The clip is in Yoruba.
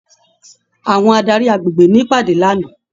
Àwọn adarí agbègbè n'ìpàdé l'ana.